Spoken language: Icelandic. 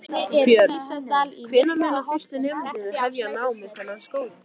Björn: Hvenær munu fyrstu nemendur hefja nám við þennan skóla?